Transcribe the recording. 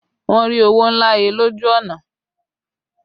Wọn rí owó ńlá he lójú ọ̀nà